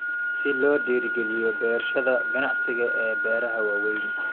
Si loo dhiirigeliyo beerashada ganacsiga ee beeraha waaweyn.